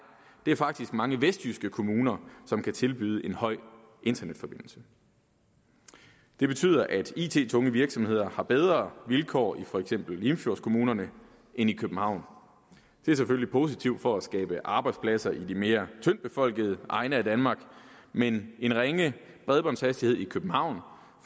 det er faktisk mange vestjyske kommuner som kan tilbyde en høj internetforbindelse det betyder at it tunge virksomheder har bedre vilkår i for eksempel limfjordskommunerne end i københavn det er selvfølgelig positivt for at skabe arbejdspladser i de mere tyndtbefolkede egne af danmark men en ringe bredbåndshastighed i københavn